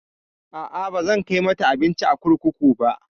A'a, bazan kai mata abinci a kurkuku ba.